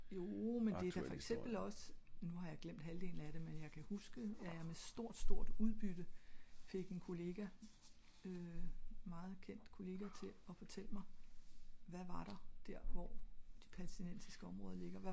joo men det er da for eksempel ogs nu har jeg glemt halvdelen af det men jeg kan huske at jeg med stort stort udbytte fik en kollega en meget kendt kollega til at fortælle mig hva var der hvor de palætinensiske områder ligger